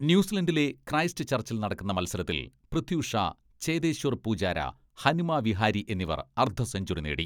ന്യൂസിലന്റിലെ Christ ചർച്ചിൽ നടക്കുന്ന മത്സരത്തിൽ പൃഥ്വിഷാ, ചേതേശ്വർ പൂജാര, ഹനുമ വിഹാരി എന്നിവർ അർധസെഞ്ചുറി നേടി.